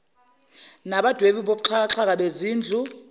nabadwebi bokuxhakaxhaka bezindlu